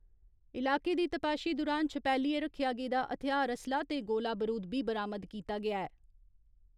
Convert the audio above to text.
इलाके दी तपाशी दुरान छपैलियै रक्खेआ गेदा हथ्यार असलाह् ते गोला बरूद बी बरामद कीता गेआ ऐ।